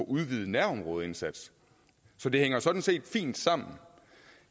udvidet nærområdeindsats så det hænger sådan set fint sammen